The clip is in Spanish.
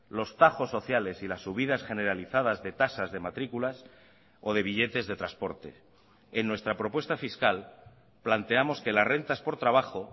los tajos sociales y las subidas generalizadas de tasas de matrículas o de billetes de transporte en nuestra propuesta fiscal planteamos que las rentas por trabajo